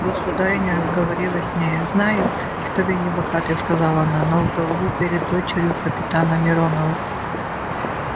государыня разговорилась с нею знаю что вы не богаты сказала она но в долгу перед дочерью капитана миронова